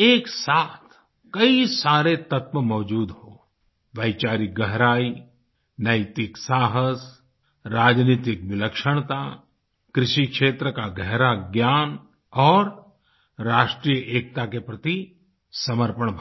एक साथ कई सारे तत्व मौजूद हों वैचारिक गहराई नैतिक साहस राजनैतिक विलक्षणता कृषि क्षेत्र का गहरा ज्ञान और राष्ट्रीय एकता के प्रति समर्पण भाव